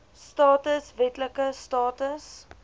status wetlike status